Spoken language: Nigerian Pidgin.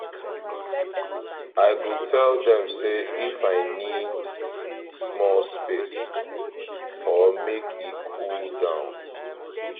i go tell dem say if i need small space or make e cool down.